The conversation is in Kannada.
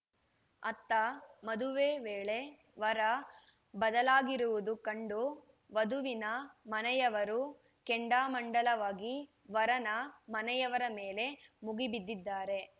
ಆತ್ತ ಮದುವೆ ವೇಳೆ ವರ ಬದಲಾಗಿರುವುದು ಕಂಡು ವಧುವಿನ ಮನೆಯವರು ಕೆಂಡಾಮಂಡಲವಾಗಿ ವರನ ಮನೆಯವರ ಮೇಲೆ ಮುಗಿಬಿದ್ದಿದ್ದಾರೆ